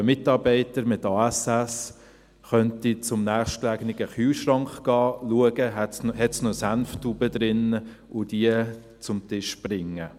Aber ein Mitarbeiter mit ASS könnte zum nächstgelegenen Kühlschrank gehen, schauen, ob es noch eine Senftube drin hat, und diese zum Tisch bringen.